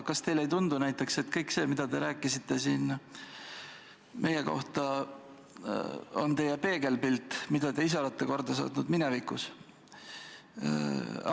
Kas teile ei tundu näiteks, et kõik see, mida te rääkisite siin meie kohta, on teie peegelpilt, mida te ise olete korda saatnud minevikus?